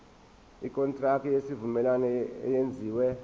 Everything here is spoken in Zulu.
ikontraki yesivumelwano eyenziwe